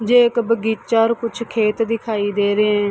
जे एक बगीचा अर कुछ खेत दिखाई दे रहे हैं।